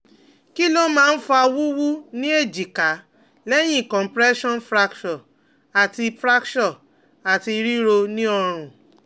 Kí ló máa ń fa wuwu ni ejika lẹ̀yìn compression fracture ati fracture ati riro ni orun?